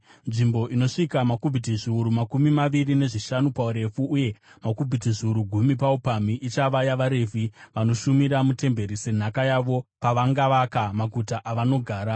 Nzvimbo inosvika makubhiti zviuru makumi maviri nezvishanu paurefu uye makubhiti zviuru gumi paupamhi ichava yavaRevhi, vanoshumira mutemberi, senhaka yavo pavangavaka maguta avanogara.